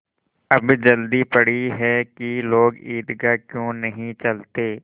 अब जल्दी पड़ी है कि लोग ईदगाह क्यों नहीं चलते